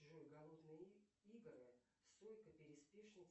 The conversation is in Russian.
джой голодные игры сойка пересмешница